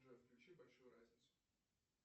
джой включи большую разницу